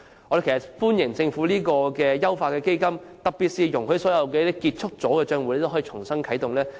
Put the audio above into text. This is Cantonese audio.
我們歡迎政府優化此基金，特別是容許所有結束帳戶可以重新啟動。